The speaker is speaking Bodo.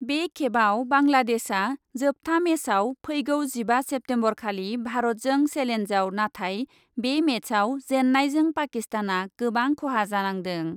बे खेबआव बांलादेशआ जोबथा मेचआव फैगौ जिबा सेप्तेम्बरखालि भारतजों सेलेन्जआव नाथाय बे मेचआव जेन्नायजों पाकिस्तानआ गोबां खहा जानांदों।